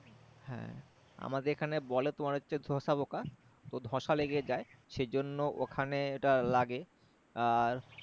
হ্যাঁ আমাদের এখানে বলে তো তোমার হচ্ছে সরিষা পোকা তো ধোসা লেগে যায় সে জন্য ওখানে ওটা লাগে আর